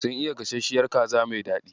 Sun iya gasashshiyar kaza mai daɗi.